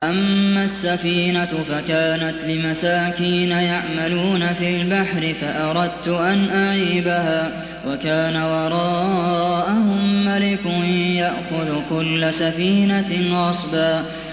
أَمَّا السَّفِينَةُ فَكَانَتْ لِمَسَاكِينَ يَعْمَلُونَ فِي الْبَحْرِ فَأَرَدتُّ أَنْ أَعِيبَهَا وَكَانَ وَرَاءَهُم مَّلِكٌ يَأْخُذُ كُلَّ سَفِينَةٍ غَصْبًا